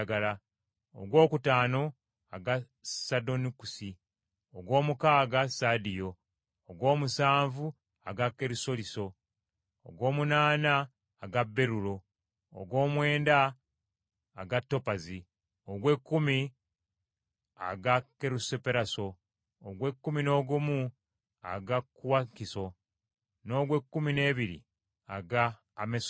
ogwokutaano aga sadonukisi, ogw’omukaaga sadiyo, ogw’omusanvu aga kerusoliso, ogw’omunaana aga berulo, ogw’omwenda aga topazi, ogw’ekkumi aga kerusoperaso, ogw’ekkumi n’ogumu aga kuwakinso, n’ogw’ekkumi n’ebiri aga amesusito.